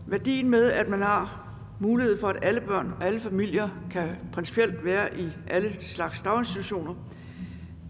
værdien med at man har mulighed for at alle børn af alle familier principielt kan være i alle slags daginstitutioner